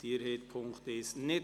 Abstimmung (Ziff. 2)